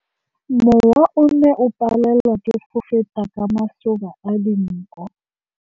Mowa o ne o palelwa ke go feta ka masoba a dinko.